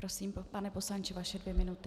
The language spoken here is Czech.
Prosím, pane poslanče, vaše dvě minuty.